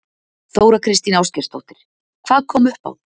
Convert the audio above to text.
Þóra Kristín Ásgeirsdóttir: Hvað kom upp á?